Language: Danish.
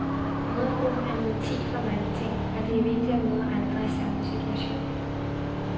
Mødregruppen er en ventil for mange ting, og det er vigtigt at møde andre i samme situation.